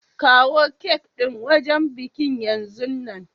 Kawo cak din wajen bikin yanzun nan!